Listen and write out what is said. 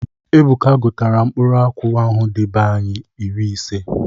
Ebuka gutalụ mkpụrụ akwụ ahụ dị be anyi iri ise.